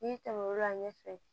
N'i tɛmɛn'o kan ɲɛfɛ